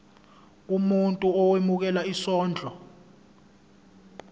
umuntu owemukela isondlo